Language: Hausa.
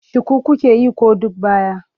Shuku kuke yi ko duk baya?